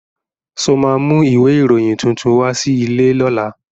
Ṣo ma mú ìwé ìròyìn tuntun wá sí ilé lọ́la?